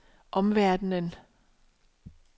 omverdenen